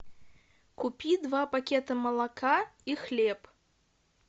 купи два пакета молока и хлеб